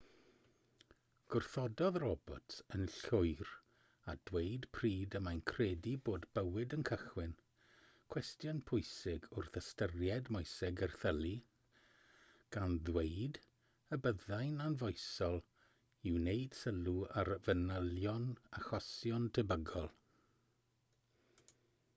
gwrthododd roberts yn llwyr â dweud pryd y mae'n credu bod bywyd yn cychwyn cwestiwn pwysig wrth ystyried moeseg erthylu gan ddweud y byddai'n anfoesol i wneud sylw ar fanylion achosion tebygol